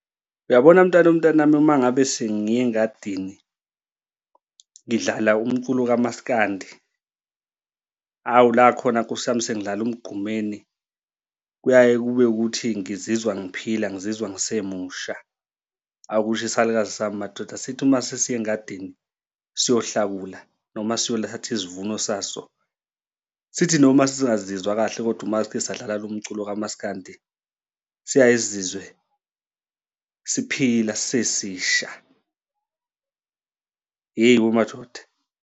Uyabona mntanomntanami, uma ngabe sengiya engadini ngidlala umculo kamaskandi, awu la khona nkosi yami sengidlala uMgqumeni, kuyaye kube ukuthi ngizizwa ngiphila ngizizwa ngise musha. Aw, kusho isalukazi sami madoda sithi uma sesiya engadini siyokuhlakula noma siyothatha isivuno saso, sithi noma singazizwa kahle kodwa uma sike sadlala lo mculo kamaskandi siyaye sizizwe siphila sisesisha. Ey, wemadoda.